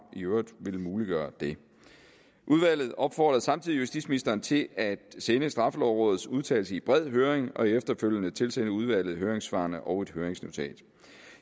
i øvrigt ville muliggøre det udvalget opfordrede samtidig justitsministeren til at sende straffelovrådets udtalelse i bred høring og efterfølgende tilsende udvalget høringssvarene og et høringsnotat